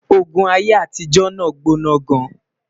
ògún aiyé àtijó nà gbóná gaan